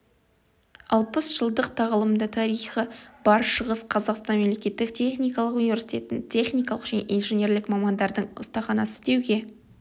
алпыс жылдық тағылымды тарихы бар шығыс қазақстан мемлекеттік техникалық университетін техникалық және инженерлік мамандардың ұстаханасы деуге